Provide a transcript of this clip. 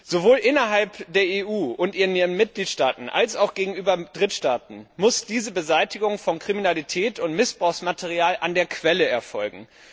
Sowohl innerhalb der EU und ihren Mitgliedstaaten als auch gegenüber Drittstaaten muss diese Beseitigung von Kriminalität und Missbrauchsmaterial an der Quelle erfolgen.